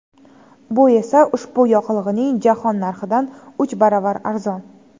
Bu esa ushbu yoqilg‘ining jahon narxidan uch baravar arzon.